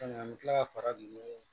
an bɛ tila ka fara nunnu